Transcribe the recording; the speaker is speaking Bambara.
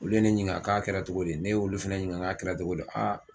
Olu ye ne ɲininka k'a kɛra togo di ne y'olu fɛnɛ ɲininka k'a kɛra togo di aa